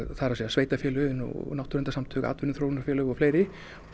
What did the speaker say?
það er að segja sveitarfélögin náttúruverndarsamtök atvinnuþróunarfélög og fleiri